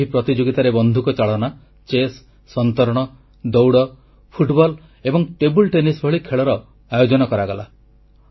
ଏହି ପ୍ରତିଯୋଗିତାରେ ବନ୍ଧୁକ ଚାଳନା ଚେସ୍ ସନ୍ତରଣ ଦୌଡ଼ ଫୁଟବଲ ଏବଂ ଟେବୁଲ ଟେନିସ ଭଳି ଖେଳର ଆୟୋଜନ କରାଗଲା